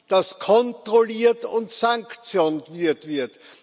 dass kontrolliert und sanktioniert wird